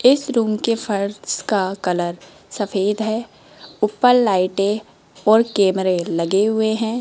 इस रूम के फर्श का कलर सफेद है ऊपर लाइटे और कैमरे लगे हुए हैं।